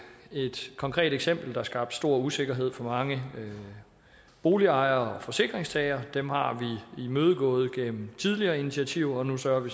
et konkret eksempel der skabte stor usikkerhed for mange boligejere og forsikringstagere dem har vi imødekommet gennem tidligere initiativer og nu sørger